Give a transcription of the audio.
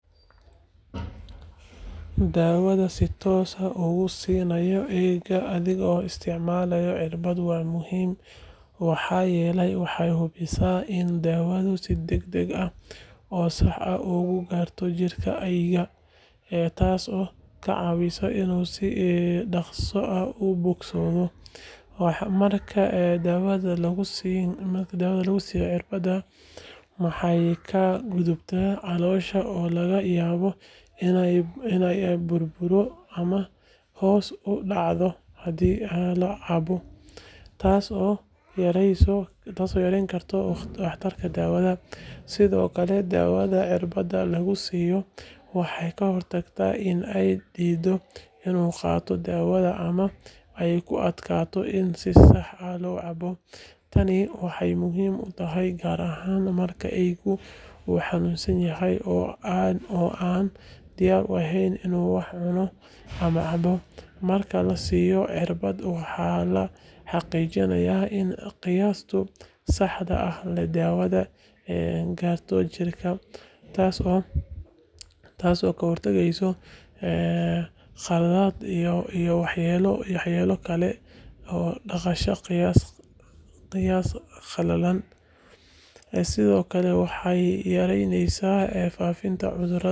Daawada si toos ah uga siinaya eyga adigoo isticmaalaya cirbad waa muhiim maxaa yeelay waxay hubisaa in daawadu si degdeg ah oo sax ah ugu gaarto jirka eyga, taasoo ka caawinaysa inuu si dhakhso ah u bogsado. Marka daawada lagu siiyo cirbad, waxay ka gudubtaa caloosha oo laga yaabo in ay burburto ama hoos u dhacdo haddii la cabo, taasoo yareyn karta waxtarka daawada. Sidoo kale, daawada cirbadda lagu siiyo waxay ka hortagtaa in eygu diido inuu qaato daawada ama ay ku adkaato in si sax ah loo cabbo. Tani waxay muhiim u tahay gaar ahaan marka eyga uu xanuunsan yahay oo aanu diyaar u ahayn inuu wax cuno ama cabo. Marka la siiyo cirbad, waxaa la xaqiijinayaa in qiyaasta saxda ah ee daawada la gaaro jirka, taasoo ka hortageysa khaladaadka iyo waxyeellooyinka ka dhasha qiyaas khaldan. Sidoo kale, waxay yaraynaysaa faafitaanka cudurada iyadoo la hubinayo in eygu helo daawada uu u baahan yahay si loo xakameeyo ama loo daweeyo cudurada.